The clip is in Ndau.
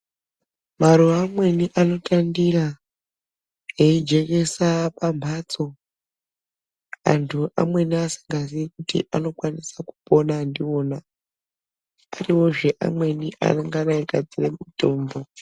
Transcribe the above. Maruwa amweni anotandira eijekesa pambatso antu amweni asingazii kuti anokwanisa kupona ndiona ariwozve amweni anogadzira mitombo.